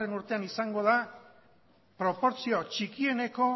urtean izango da proportzio txikieneko